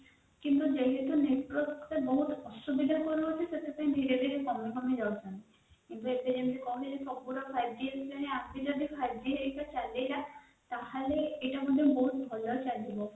କିନ୍ତୁ network ଟା ବହୁତ ଅସୁବିଧା କଣ ହଉଛି ସେଇଟା ମୁ ନିଜେବି conform ଜାଣିନି five g ହେରିକା ଆସିଲା ଫାଇଭ g ହେରିକ ଚାଲିଲା ତାହାଲେ ଏଟା ଟ ବହୁତ ଭଲ ଚାଲିବ